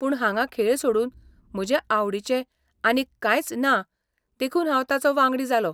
पूण हांगा खेळ सोडून म्हजे आवडीचें आनीक कांयच ना देखून हांव ताचो वांगडी जालों.